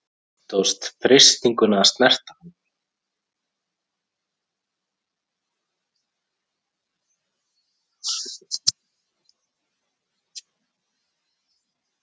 Stóðst freistinguna að snerta hann